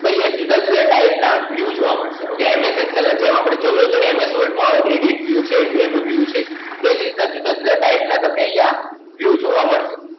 કે અહિયાં જુદા જુદા Type ના View જોવા મળશે, OkayMS Excel જેમાં આપણે જોઈએ છીએ ને MS Word માં View છે View છે, એ જ રીતના જુદા જુદા Type ના તમને અહિયાં View જોવા મળશે.